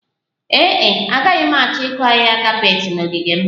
Ee e, agaghị m achọ ịkụ ahịhịa kapet na ogige m